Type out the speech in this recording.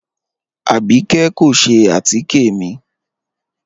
Abíkẹ̀ kò ṣẹ̀ àtíkẹ̀ mi